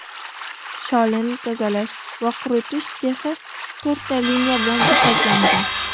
Sholini tozalash va quritish sexi to‘rtta liniya bilan jihozlangan.